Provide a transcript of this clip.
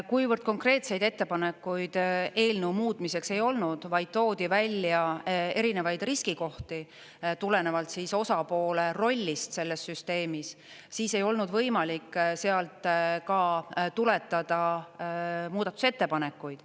Kuna konkreetseid ettepanekuid eelnõu muutmiseks ei olnud, vaid toodi välja erinevaid riskikohti tulenevalt osapoole rollist selles süsteemis, siis ei olnud võimalik sealt ka tuletada muudatusettepanekuid.